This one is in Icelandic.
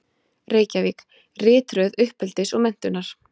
Reykjavík: Ritröð uppeldis og menntunar.